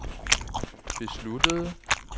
besluttede